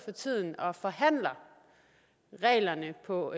og forhandler reglerne på